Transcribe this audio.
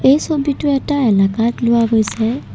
এই ছবিটো এটা এলেকাত লোৱা গৈছে।